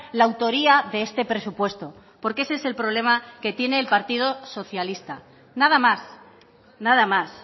la autoría de este presupuesto porque ese es el problema que tiene el partido socialista nada más nada más